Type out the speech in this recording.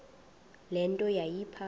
le nto yayipha